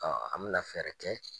Ɔɔ an bi na fɛrɛ kɛ